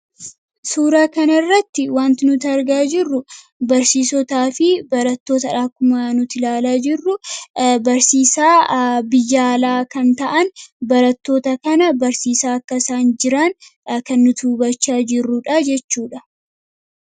suuraa kanirratti wanti nuti argaa jirru barsiisotaa fi barattoota ku0a nuti ilaalaa jirru barsiisaa biyaalaa kan ta'an barattoota kana barsiisaa akkasaan jiraan kan nutubachaa jirruudha jechuudha